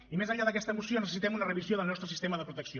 i més enllà d’aquesta moció necessitem una revisió del nostre sistema de protecció